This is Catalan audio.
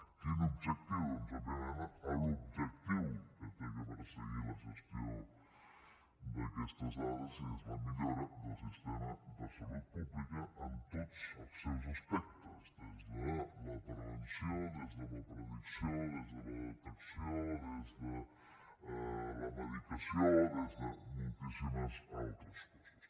quin objectiu doncs òbviament l’objectiu que ha de perseguir la gestió d’aquestes dades és la millora del sistema de salut pública en tots els seus aspectes des de la prevenció des de la predicció des de la detecció des de la medicació des de moltíssimes altres coses